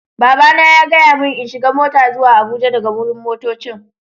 Baba na ya gaya mun n'shiga mota zuwa Abuja daga wurin motoccin.